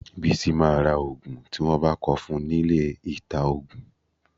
Bísí máa ra òògùn tí wọ́n bá kọ fún nílé ìta-òògùn.